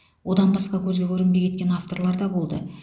одан басқа көзге көрінбей кеткен авторлар да болды